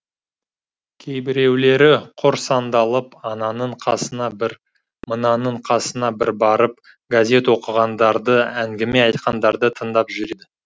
кейбіреулері құр сандалып ананың қасына бір мынаның қасына бір барып газет оқығандарды әңгіме айтқандарды тыңдап жүреді